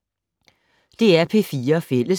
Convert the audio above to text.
DR P4 Fælles